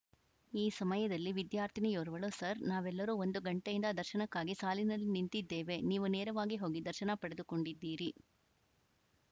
ಈ ಸಮಯದಲ್ಲಿ ವಿದ್ಯಾರ್ಥಿನಿಯೋರ್ವಳು ಸರ್‌ ನಾವೆಲ್ಲರೂ ಒಂದು ಗಂಟೆಯಿಂದ ದರ್ಶನಕ್ಕಾಗಿ ಸಾಲಿನಲ್ಲಿ ನಿಂತಿದ್ದೇವೆ ನೀವು ನೇರವಾಗಿ ಹೋಗಿ ದರ್ಶನ ಪಡೆದುಕೊಂಡಿದ್ದೀರಿ